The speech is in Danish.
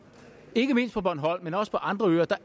ikke mindst på bornholm men også på andre øer